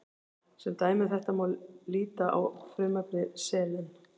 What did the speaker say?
Sem dæmi um þetta má líta á frumefni selen.